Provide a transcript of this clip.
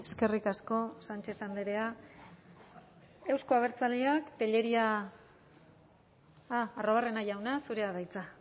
eskerrik asko sánchez andrea euzko abertzaleak tellería ah arruabarrena jauna zurea da hitza